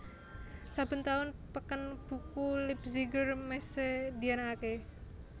Saben taun peken buku Leipziger Messe dianakaké